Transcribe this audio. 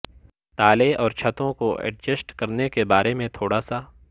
تالے اور چھتوں کو ایڈجسٹ کرنے کے بارے میں تھوڑا سا